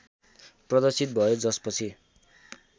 प्रदर्शित भयो जसपछि